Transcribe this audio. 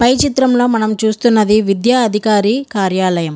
పై చిత్రంలో మనము చూస్తున్నది విద్య అధికారి కార్యాలయం.